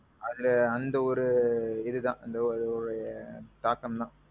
அதுல அந்த ஒரு இதுதான். அந்த ஒரு தாக்கம் தான்.